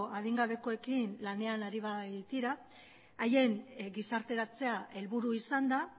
adingabekoekin lanean ari baitira haien gizarteratzea helburu izanda